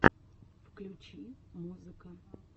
включи музыка